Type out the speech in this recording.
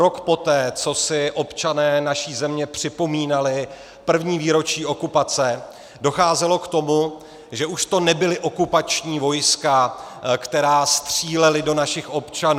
Rok poté, co si občané naší země připomínali první výročí okupace, docházelo k tomu, že už to nebyla okupační vojska, která střílela do našich občanů.